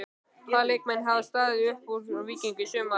Hvaða leikmenn hafa staðið upp úr hjá Víkingi í sumar?